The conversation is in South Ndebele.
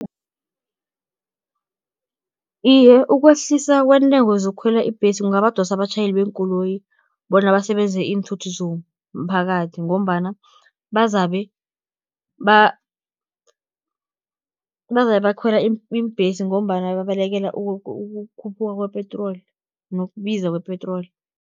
Iye, ukwehlisa kweentengo zokukhwela iimbhesi, kungabadosa abatjhayeli beenkoloyi, bona basebenzise iinthuthi zomphakathi, ngombana bazabe bakhwela iimbhesi, ngombana babalekela ukukhuphuka kwepetroli, nokubiza kwepetroli.